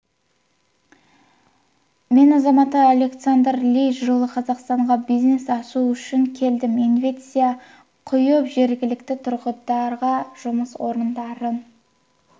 мен азаматы александр ли жылы қазақстанға бизнес ашу үшін келдім инвестиция құйып жергілікті тұрғындарға жұмыс орындарын